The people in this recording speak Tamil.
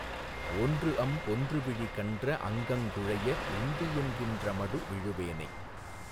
ஒன்றஅம் பொன்றுவிழி கன்றஅங் கங்குழைய உந்தியென் கின்றமடு ...... விழுவேனை